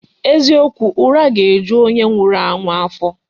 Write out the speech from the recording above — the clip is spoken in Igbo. Eziokwu, ura ga eju onye nwuru ahu afo